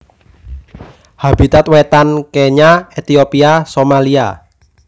Habitat Wétan Kenya Ethiopia Somalia